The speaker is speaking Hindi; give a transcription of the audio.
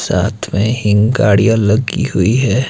साथ में हीं गाड़ियां लगी हुई है।